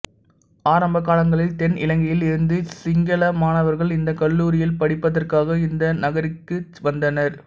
ஆரம்ப காலங்களில் தென் இலங்கையில் இருந்து சிங்கள மாணவர்கள் இந்தக் கல்லூரியில் படிப்பதற்காக இந்த நகரிற்கு வந்தனர்